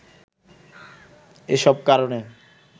এসব কারনে